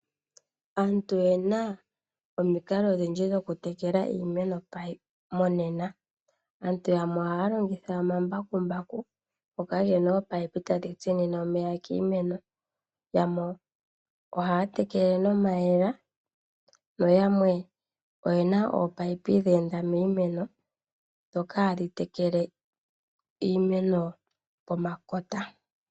Aantu oyena omikalo odhindji dhoku tekela iimeno monena. Aantu yamwe ohaya longitha omambakumbaku ngoka gena ominino tadhi tsinine omeya kiimeno, yamwe ohaya tekele nomayemele noyamwe oyena ominino dhe enda miimeno ndhoka hadhi tekele iimeno pomakota.